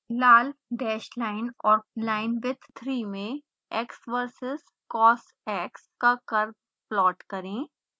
लाल dash line और linewidth 3 में x verses cosx का curve प्लॉट करें